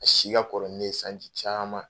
A si ka kɔrɔ ni ne ye sanji caman